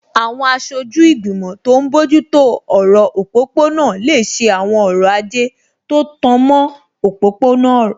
Àwọn aṣojú ìgbìmọ̀ tó n bójú tó ọ̀rọ̀ òpópó-ọ̀nà lè ṣe àwọn ọrọ̀ ajé tó tan mọ́ òpópó-ọ̀nà